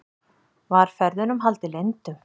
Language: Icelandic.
Var ferðunum haldið leyndum